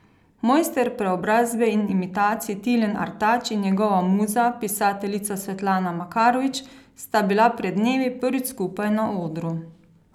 Mojster preobrazbe in imitacij Tilen Artač in njegova muza, pisateljica Svetlana Makarovič, sta bila pred dnevi prvič skupaj na odru.